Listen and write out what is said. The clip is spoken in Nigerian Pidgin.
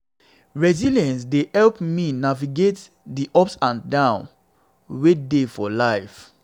resilience dey help me navigate di ups and downs wey dey for life.